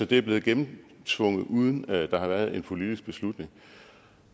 det er blevet gennemtvunget uden at der har været en politisk beslutning